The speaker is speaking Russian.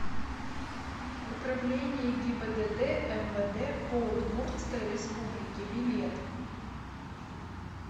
управление гибдд мвд по удмуртской республике билет